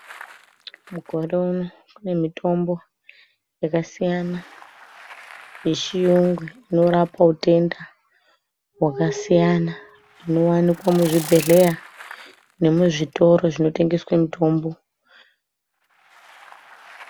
Mukore uno kune mitombo yakasiyana yechiyungu inorapa utenda hwakasiyana inowanika muzvibhedhleya nemuzvitoro zvinotengeswe mutombo.